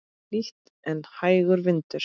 Hlýtt en hægur vindur.